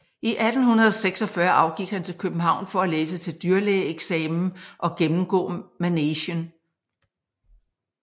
I 1846 afgik han til København for at læse til dyrlægeeksamen og gennemgå Manegen